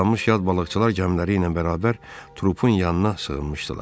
Islanmış yad balıqçılar gəmiləri ilə bərabər trupun yanına sığınmışdılar.